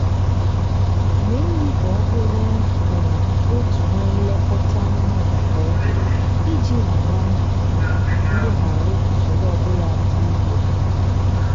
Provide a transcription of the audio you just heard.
mee nri ka ọ bụrụ um otu na nlekọta anụmanụ kwa oge iji ghara um ilegharụ usoro ọbụla dị egwu anya